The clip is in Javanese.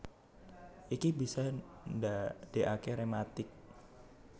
Iki bisa ndadékaké rématik